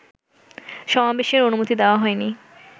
সমাবেশের অনুমতি দেওয়া হয়নি